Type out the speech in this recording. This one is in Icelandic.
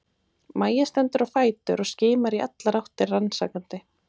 Mæja stendur á fætur og skimar í allar áttir rannsakandi.